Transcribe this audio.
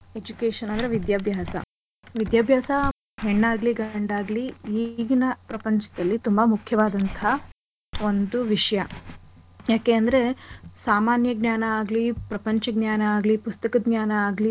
Education ಅಂದ್ರೆ ವಿದ್ಯಾಭ್ಯಾಸ. ವಿದ್ಯಾಭ್ಯಾಸ ಹೆಣ್ ಆಗ್ಲಿ ಗಂಡ್ ಆಗ್ಲಿ ಈಗಿನ ಪ್ರಪಂಚದಲ್ಲಿ ತುಂಬಾ ಮುಖ್ಯವಾದಂಥ ಒಂದು ವಿಷ್ಯ. ಯಾಕೆ ಅಂದ್ರೆ ಸಾಮಾನ್ಯ ಜ್ಞಾನ ಆಗ್ಲಿ ಪ್ರಪಂಚ ಜ್ಞಾನ ಆಗ್ಲಿ ಪುಸ್ತಕ ಜ್ಞಾನ ಆಗ್ಲಿ,